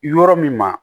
Yɔrɔ min ma